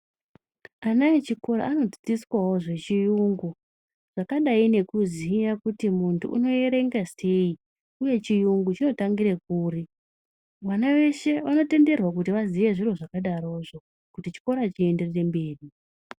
Ana echikora anodzidziswawo zvechiyungu zvakadai nekuziya kuti mundu unoyerenga seyi uye chiyungu chinotangire kuri vana weshe wanotenderwa kuti vaziye zviro zvakadaro zvoo kuti chikora chienderere mberi.